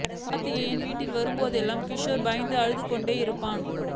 கார்த்திகேயன் வீட்டிற்கு வரும் போதெல்லாம் கிஷோர் பயந்து அழுது கொண்டிருப்பானாம்